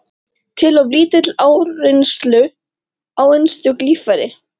til of lítillar áreynslu á einstök líffæri.